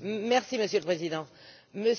Monsieur le Président, mes